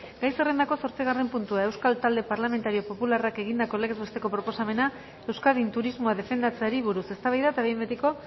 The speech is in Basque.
gai zerrendako zortzigarren puntua euskal talde parlamentario popularrak egindako legez besteko proposamena euskadin turismoa defendatzeari buruz eztabaida eta behin betiko